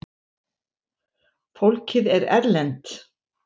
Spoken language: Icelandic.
Fólkið er erlent.